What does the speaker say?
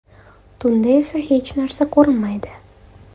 Tunda esa hech narsa ko‘rinmaydi.